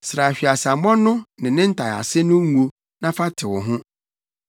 Sra hweaseammɔ no ne ne ntaease no ngo na fa tew ho.